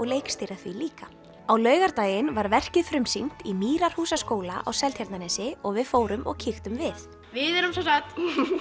leikstýra því líka á laugardaginn var verkið frumsýnt í Mýrarhúsaskóla á Seltjarnarnesi og við fórum og kíktum við við erum sem sagt